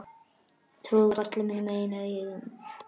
Trúði varla mínum eigin eyrum.